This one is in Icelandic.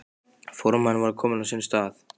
Formaðurinn var kominn á sinn stað.